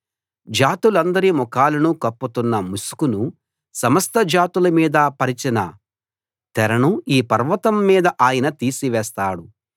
జాతులందరి ముఖాలను కప్పుతున్న ముసుకును సమస్త జాతుల మీద పరిచిన తెరను ఈ పర్వతం మీద ఆయన తీసివేస్తాడు